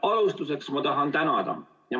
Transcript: Alustuseks tahan ma tänada.